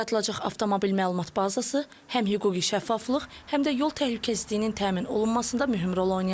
Yaradılacaq avtomobil məlumat bazası həm hüquqi şəffaflıq, həm də yol təhlükəsizliyinin təmin olunmasında mühüm rol oynayacaq.